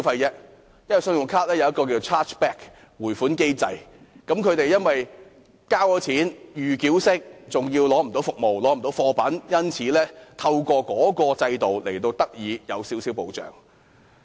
根據信用卡的退款保障機制，他們由於以預繳方式付款後無法得到服務或貨品，因而透過制度獲得少許保障。